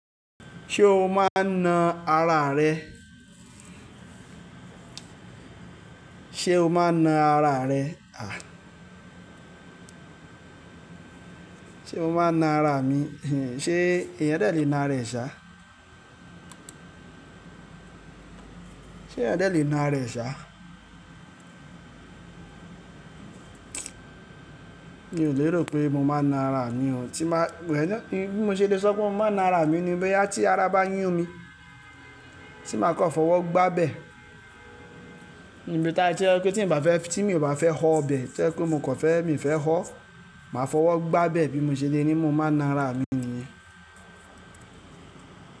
Ṣé o máa na ara rẹ? Sé o máa na ara rẹ? À, ṣé mo máa n na ara mi? Hin, ṣé èèyàn dẹ̀ lè na ara ẹ ṣá? Sé ẹ̀yẹn adẹ́ le na ara rẹ̀ sá? Mi ò lérò pé mo máa na ara mi o. Tí ma-- wẹ̀, bí mo ṣe le sọ pé mo máa na ara mi ni pé tí ara bá yún mi, tí màá kọ fọwọ́ gbá bẹ̀. Ni bí ta tí ẹ kú tí n bà fẹ́, tí mi ò bá fẹ́ họ ibẹ̀, tẹ́lẹ̀ pé mo kọ̀ fẹ́, mi ò fẹ́ hó, màá fọwọ́ gbá bẹ̀. Bí mo ṣe le ní mo máa na ara mi níyẹn.